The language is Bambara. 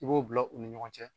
I b'o bila u ni ɲɔgɔn cɛ.